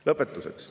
Lõpetuseks.